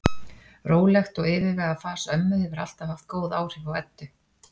Rólegt og yfirvegað fas ömmu hefur alltaf haft góð áhrif á Eddu.